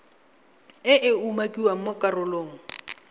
e e umakiwang mo karolong